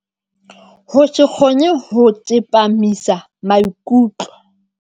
Ho se kgone ho tsepamisa maikutlo.